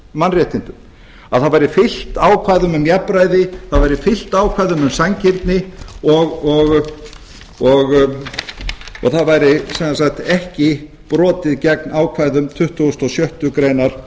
mannréttindum að það væri fylgt ákvæðum um jafnræði það væri fylgt ákvæðum um sanngirni og það væri sem sagt ekki brotið gegn ákvæðum tuttugasta og sjöttu grein